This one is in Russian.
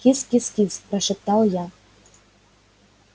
кис-кис-кис прошептал я